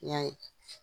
I y'a ye